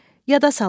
Yada salın.